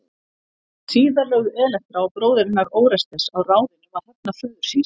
Síðar lögðu Elektra og bróðir hennar Órestes á ráðin um að hefna föður síns.